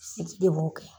Sidi de b'o kɛ